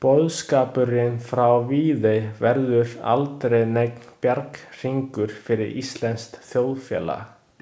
Boðskapurinn frá Viðey verður aldrei neinn bjarghringur fyrir íslenskt þjóðfélag.